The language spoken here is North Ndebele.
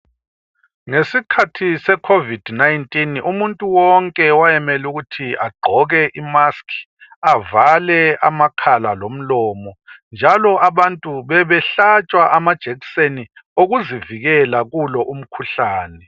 Ngesikhathi secovid 19, umuntu wonke wayemele ukuthi agqoke imask. Avale amakhala, lomlomo, njalo abantu bebehlatshwa amajekiseni. Okuzivikela, kulo umkhuhlane.